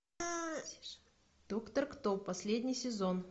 доктор кто последний сезон